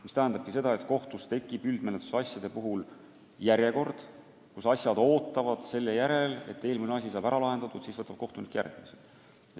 See tähendabki seda, et kohtus tekib üldmenetluse asjade puhul järjekord – asjad ootavad selle järel, et eelmine asi saab ära lahendatud, siis võtab kohtunik käsile järgmise.